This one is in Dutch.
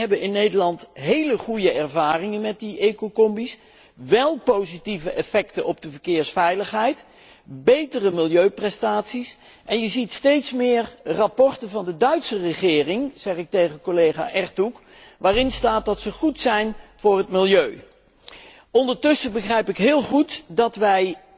kans. Wij hebben in Nederland heel goede ervaringen met de ecocombi's positieve effecten op de verkeersveiligheid en betere milieuprestaties. Er zijn steeds meer rapporten van de Duitse regering dit zeg ik tegen collega Ertug waarin staat dat ze goed zijn voor het milieu. Ondertussen begrijp ik heel goed